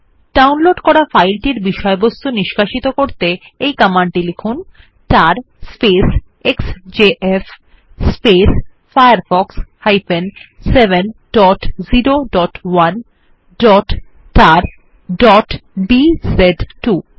তার X J F firefox 701tarবিজে2 command লিখে ডাউনলোড করা ফাইলটির বিষয়বস্তু নিষ্কাশিত করে নিন